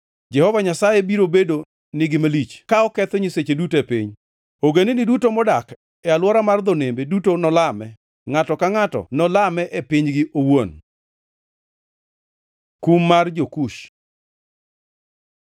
Jehova Nyasaye biro bedo nigi malich ka oketho nyiseche duto e piny. Ogendini duto modak e alwora mar dho nembe duto nolame, ngʼato ka ngʼato nolame e pinygi owuon. Kum mar jo-Kush